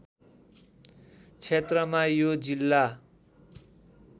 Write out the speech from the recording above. क्षेत्रमा यो जिल्ला